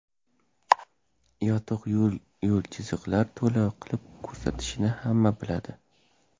Yotiq yo‘l-yo‘l chiziqlar to‘la qilib ko‘rsatishini hamma biladi.